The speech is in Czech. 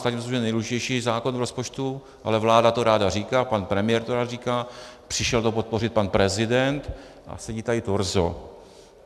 Státní rozpočet je nejdůležitější zákon k rozpočtu (?), ale vláda to ráda říká, pan premiér to rád říká, přišel to podpořit pan prezident, a sedí tady torzo.